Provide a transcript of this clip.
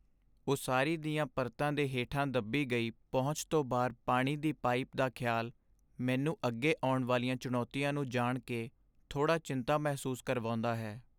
ਉਸਾਰੀ ਦੀਆਂ ਪਰਤਾਂ ਦੇ ਹੇਠਾਂ ਦੱਬੀ ਗਈ ਪਹੁੰਚ ਤੋਂ ਬਾਹਰ ਪਾਣੀ ਦੀ ਪਾਈਪ ਦਾ ਖਿਆਲ ਮੈਨੂੰ ਅੱਗੇ ਆਉਣ ਵਾਲੀਆਂ ਚੁਣੌਤੀਆਂ ਨੂੰ ਜਾਣ ਕੇ, ਥੋੜੀ ਚਿੰਤਾ ਮਹਿਸੂਸ ਕਰਵਾਉਂਦਾ ਹੈ।